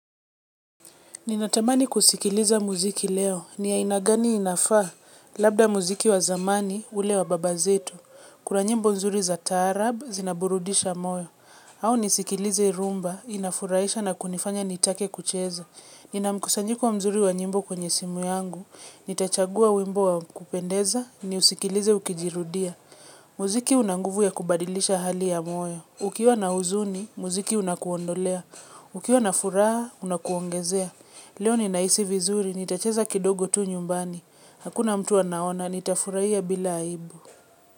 Ninatamani kusikiliza mziki leo. Ni ya aina gani inafaa. Labda mziki wa zamani, ule wa baba zetu. Kuna nyimbo mzuri za taarab, zinaburudisha moyo. Au nisikilize rhumba, inafurahisha na kunifanya nitake kucheza. Nina mkusanyiko mzuri wa nyimbo kwenye simu yangu. Nitachagua wimbo wa kupendeza, niusikilize ukijirudia. Mziki unanguvu wa kubadilisha hali ya moyo. Ukiwa na uzuni, mziki unakuondolea. Ukiwa na furaha, unakuongezea. Leo ni nahisi vizuri, nitacheza kidogo tu nyumbani. Hakuna mtu anaona, nitafurahia bila aibu.